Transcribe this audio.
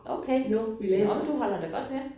Okay. Nåh du holder da godt ved